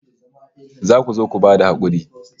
Za ku zo ku ba da hakuri